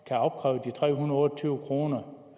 der afkræves de tre hundrede og tyve kroner